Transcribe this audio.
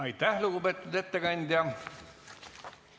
Aitäh, lugupeetud ettekandja!